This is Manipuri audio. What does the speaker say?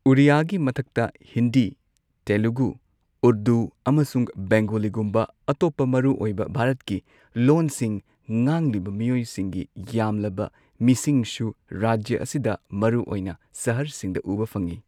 ꯑꯣꯔꯤꯌꯥꯒꯤ ꯃꯊꯛꯇ ꯍꯤꯟꯗꯤ, ꯇꯦꯂꯨꯒꯨ, ꯎꯔꯗꯨ ꯑꯃꯁꯨꯡ ꯕꯦꯡꯒꯣꯂꯤꯒꯨꯝꯕ ꯑꯇꯣꯞꯄ ꯃꯔꯨꯑꯣꯏꯕ ꯚꯥꯔꯠꯀꯤ ꯂꯣꯟꯁꯤꯡ ꯉꯥꯡꯂꯤꯕ ꯃꯤꯑꯣꯏꯁꯤꯡꯒꯤ ꯌꯥꯝꯂꯕ ꯃꯤꯁꯤꯡꯁꯨ ꯔꯥꯖ꯭ꯌ ꯑꯁꯤꯗ ꯃꯔꯨꯑꯣꯏꯅ ꯁꯍꯔꯁꯤꯡꯗ ꯎꯕ ꯐꯪꯏ꯫